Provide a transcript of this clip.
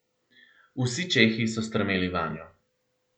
Vsi čehi so strmeli vanjo.